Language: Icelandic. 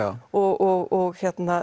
og